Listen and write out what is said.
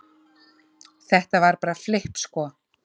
Þetta var bara flipp sko